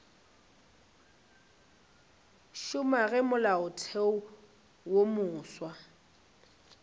šoma ge molaotheo wo mofsa